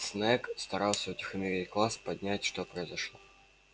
снегг старался утихомирить класс понять что произошло